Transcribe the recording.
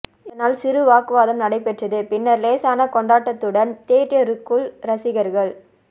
இதனால் சிறு வாக்குவாதம் நடைபெற்றது பின்னர் லேசான கொண்டாட்டத்துடன் தியேட்டருக்குள் ரசிகர்கள்